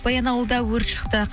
баянауылда өрт шықты